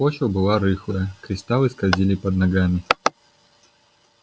почва была рыхлая кристаллы скользили под ногами